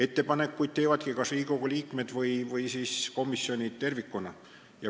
Ettepanekuid teevadki kas Riigikogu liikmed või komisjonid tervikuna.